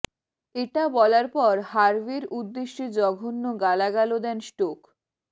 এটা বলার পর হার্ভের উদ্দেশ্যে জঘন্য গালাগালও দেন স্টোক